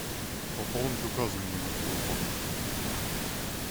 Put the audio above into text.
пополнить указанный номер телефона